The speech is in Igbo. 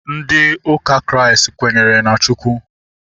Ndị ụka Kraịst kwenyere na Chukwu